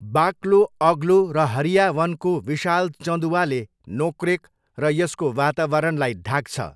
बाक्लो, अग्लो र हरिया वनको विशाल चँदुवाले नोक्रेक र यसको वातावरणलाई ढाक्छ।